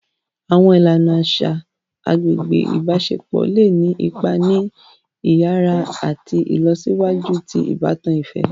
Awọn ìlànà aṣa agbègbè ibaṣepọ le ni ipá ni iyàrá àti ìlọsíwájú ti ìbátan ifẹ.